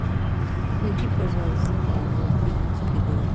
найди пожалуйста мультфильм чип и дейл